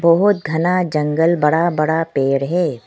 बहुत घना जंगल बड़ा बड़ा पेड़ है।